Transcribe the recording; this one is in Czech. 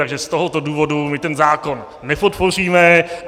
Takže z tohoto důvodu my ten zákon nepodpoříme.